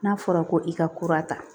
N'a fɔra ko i ka kura ta